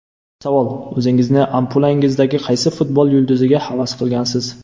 Savol: O‘zingizni ampulangizdagi qaysi futbol yulduziga havas qilgansiz?